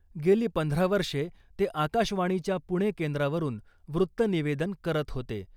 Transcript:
गेली पंधरा वर्षे ते आकाशवाणीच्या पुणे केंद्रावरून वृत्त निवेदन करत होते .